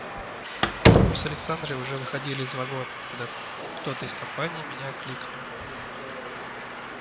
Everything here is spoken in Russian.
мы с александрой уже выходили из вагона когда кто-то из компании меня окликнул